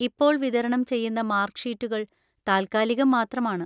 ഇപ്പോൾ വിതരണം ചെയ്യുന്ന മാർക്ക് ഷീറ്റുകൾ താൽക്കാലികം മാത്രമാണ്.